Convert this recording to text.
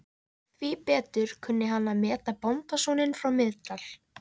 Því betur kunni hann að meta bóndasoninn frá Miðdal.